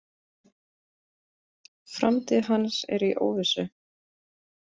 Framtíð hans er í óvissu.